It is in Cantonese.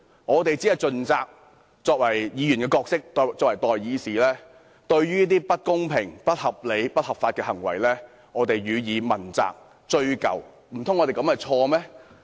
我們身為議員，盡責追究一些不公平、不合理、不合法的行為，這樣做難道有錯嗎？